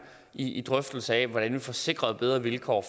i en drøftelse af hvordan vi får sikret bedre vilkår